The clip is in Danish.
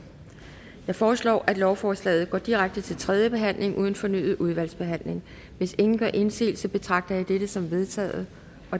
jeg foreslår at lovforslaget går direkte til tredje behandling uden fornyet udvalgsbehandling hvis ingen gør indsigelse betragter jeg dette som vedtaget